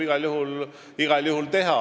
Igal juhul.